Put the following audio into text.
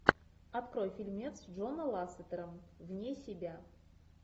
открой фильмец джона лассетера вне себя